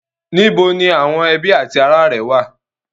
Níbo ni àwọn ẹbí ati ará rẹ wà?